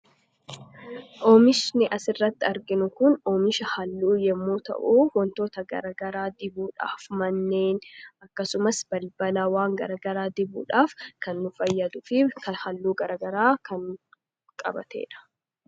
oomishni as irratti arginu kun oomisha halluu yommuu ta'uu wantoota garagaraa dibuudhaaf manneen akkasumas balbalaa waan garagaraa dibuudhaaf kan nu fayyaluf halluu garagaraa kan qabateedha